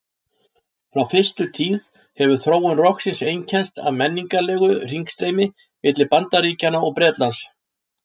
Frá fyrstu tíð hefur þróun rokksins einkennst af menningarlegu hringstreymi milli Bandaríkjanna og Bretlands.